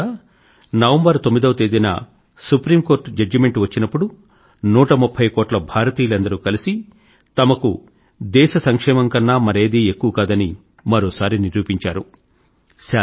ఈసారి కూడా నవంబర్ 9వ తేదీన సుప్రీం కోర్టు జడ్జిమెంట్ వచ్చినప్పుడు 130 కోట్ల భారతీయులందరూ కలిసి తమకు దేశ సంక్షేమం కన్నా మరేదీ ఎక్కువ కాదని మరోసారి నిరూపించారు